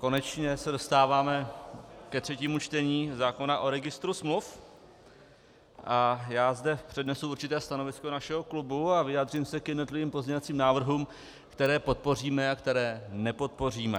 Konečně se dostáváme ke třetímu čtení zákona o registru smluv a já zde přednesu určité stanovisko našeho klubu a vyjádřím se k jednotlivým pozměňovacím návrhům, které podpoříme a které nepodpoříme.